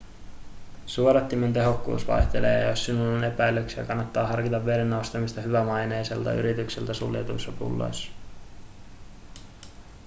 suodattimien tehokkuus vaihtelee ja jos sinulla on epäilyksiä kannattaa harkita veden ostamista hyvämaineiselta yritykseltä suljetuissa pulloissa